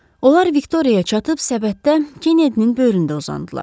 Onlar Viktoriyaya çatıb səbətdə Kennedinin böyründə uzandılar.